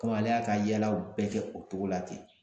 Komi ale y'a ka yaalaw bɛɛ kɛ o cogo la ten